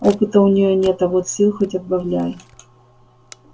опыта у неё нет а вот сил хоть отбавляй